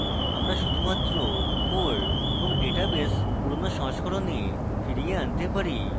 আমরা শুধুমাত্র core এবং database পুরোনো সংস্করণে ফিরিয়ে আনতে পারি